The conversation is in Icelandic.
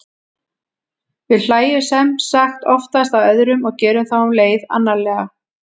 við hlæjum sem sagt oftast að öðrum og gerum þá um leið annarlega